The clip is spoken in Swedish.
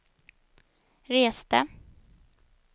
reste